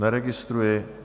Neregistruji.